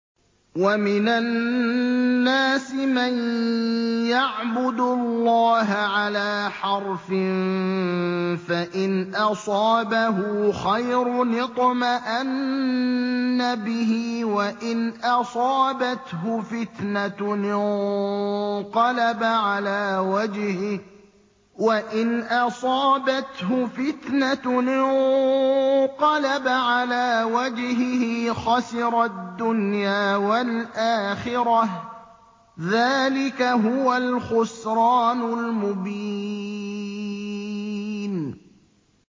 وَمِنَ النَّاسِ مَن يَعْبُدُ اللَّهَ عَلَىٰ حَرْفٍ ۖ فَإِنْ أَصَابَهُ خَيْرٌ اطْمَأَنَّ بِهِ ۖ وَإِنْ أَصَابَتْهُ فِتْنَةٌ انقَلَبَ عَلَىٰ وَجْهِهِ خَسِرَ الدُّنْيَا وَالْآخِرَةَ ۚ ذَٰلِكَ هُوَ الْخُسْرَانُ الْمُبِينُ